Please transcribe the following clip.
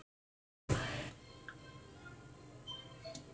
grundin góða ber